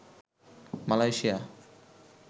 Malaysia